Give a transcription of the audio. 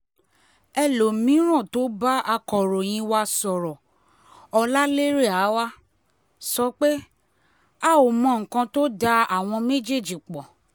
elomi-ín tó bá akọ̀ròyìn wa sọ̀rọ̀ ọláléré awaw sọ pé a ò mọ nǹkan tó da àwọn méjèèjì pọ̀